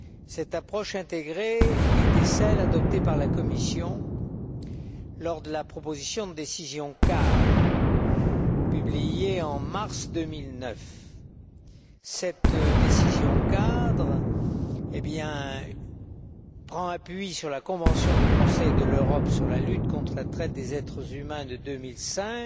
Cette approche intégrée était celle adoptée par la Commission lors de la proposition de décision cadre publiée en mars 2009. Cette décision cadre prend appui sur la convention du Conseil de l'Europe sur la lutte contre la traite des êtres humains de 2005,